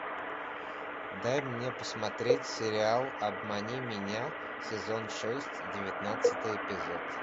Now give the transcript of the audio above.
дай мне посмотреть сериал обмани меня сезон шесть девятнадцатый эпизод